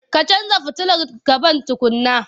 Ka canja futilar gaban tukunna.